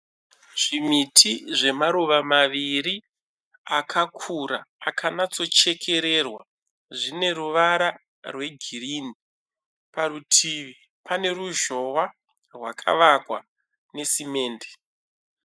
Zvimiti zvemaruva maviri akakura akanatso chekererwa zvine ruvara rwegirini, parutivi pane ruzhowa rwakavakwa nesimende.